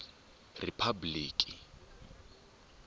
riphabliki